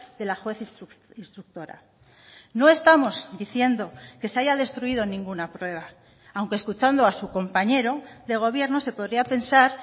de la juez instructora no estamos diciendo que se haya destruido ninguna prueba aunque escuchando a su compañero de gobierno se podría pensar